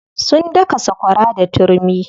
Sun daka sakwara da turmi.